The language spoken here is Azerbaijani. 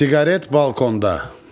Siqaret balkonda.